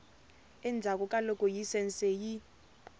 endzhaku ka loko layisense yi